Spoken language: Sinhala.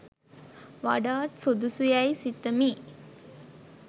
වඩාත් සුදුසු යැයි සිතමි.